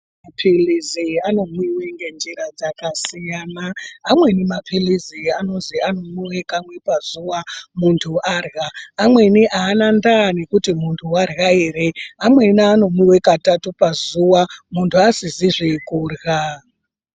Mapirizi anomwiwa ngenjira dzakasiyana amweni mapirizi anonzi anomwiwa kamwe pazuva Muntu arya pamweni ana nada yekuti muntu vaere pakaita pazuva vasizizvi kuirya.